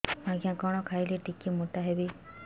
ଆଜ୍ଞା କଣ୍ ଖାଇଲେ ଟିକିଏ ମୋଟା ହେବି